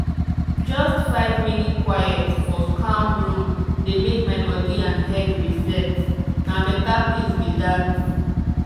just five minute quiet for calm room dey make my body and head reset—na better peace be that.